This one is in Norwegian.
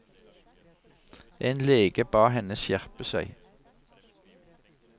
En lege ba henne skjerpe seg.